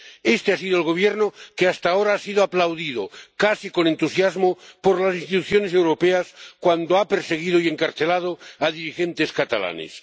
Este ha sido el Gobierno que hasta ahora ha sido aplaudido casi con entusiasmo por las instituciones europeas cuando ha perseguido y encarcelado a dirigentes catalanes.